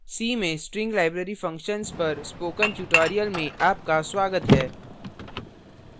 c में string library functions पर spoken tutorial में आपका स्वागत है